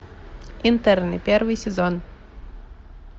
интерны первый сезон